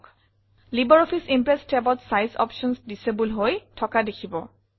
LibreOffice Impress tabত size options disable হৈ থকা দেখিব